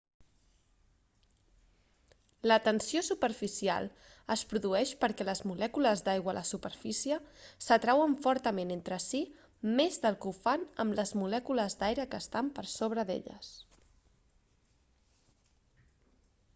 la tensió superficial es produeix perquè les molècules d'aigua a la superfície s'atrauen fortament entre sí més del que ho fan amb les molècules d'aire que estan per sobre d'elles